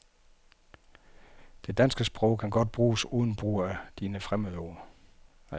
Det danske sprog kan godt bruges uden brug af fine fremmedord.